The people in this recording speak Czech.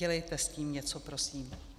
Dělejte s tím něco prosím.